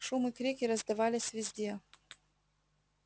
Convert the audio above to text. шум и крики раздавались везде